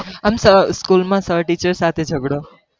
આમ school માં sir teacher સાથે ઝગડો